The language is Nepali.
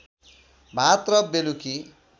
भात र बेलुकी